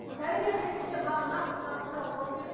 дәрігер ретінде маған нақты мына бір сұрағыма жауап беріңізші